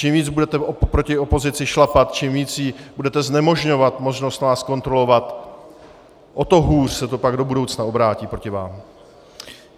Čím víc budete proti opozici šlapat, čím víc jí budete znemožňovat možnost vás kontrolovat, o to hůř se to pak do budoucna obrátí proti vám.